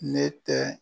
Ne tɛ